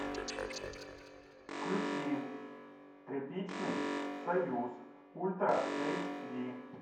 включи тряпичный союз ультра эйч ди